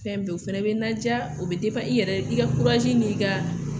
Fɛn bɛɛ o fɛnɛ bɛ n ladiya o bɛ i yɛrɛ i ka n'i ka